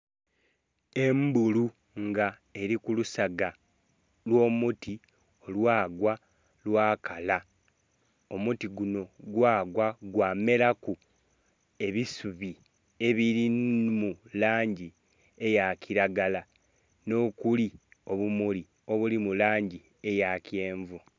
Embulu nga eli ku lusaga olw'omuti olwagwa lwakala, omuti gunho gwagwa gwamelaku ebisubi ebiri mu langi eya kilagala nh'okuli obumuli obuli mu langi eya kyenvu.